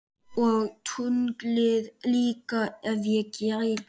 Og tunglið líka ef ég geti.